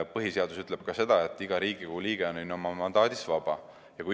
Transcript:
Põhiseadus ütleb ka seda, et iga Riigikogu liige on oma mandaadis vaba.